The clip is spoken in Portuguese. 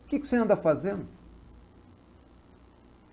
O que que você anda fazendo?